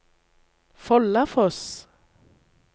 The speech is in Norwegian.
Follafoss